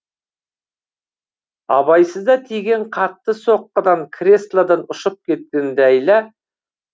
абайсызда тиген қатты соққыдан креслодан ұшып кеткен ләйла